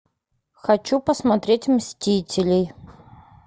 хочу посмотреть мстителей